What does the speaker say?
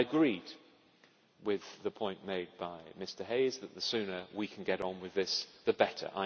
I agree with the point made by Mr Hayes that the sooner we can get on with this, the better.